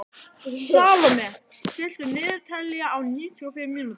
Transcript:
Salome, stilltu niðurteljara á níutíu og fimm mínútur.